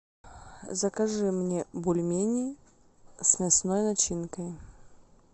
закажи мне бульмени с мясной начинкой